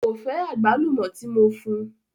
Ko fẹ agbálùmó ti mo fún.